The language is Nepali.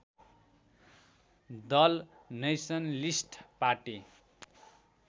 Dal nationalist party